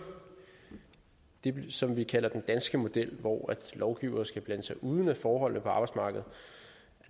det som vi kalder den danske model hvor lovgivere skal blande sig udenom forholdene på arbejdsmarkedet